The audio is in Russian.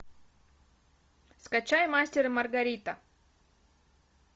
скачай мастер и маргарита